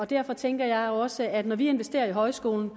derfor tænker jeg også at når vi investerer i højskoler